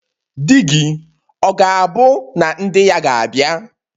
Di-gi, ọ̀ gābu na ndi-ya gābia?